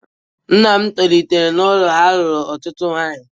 Nna m tolitere n'ụlọ a alụrụ otutu nwanyị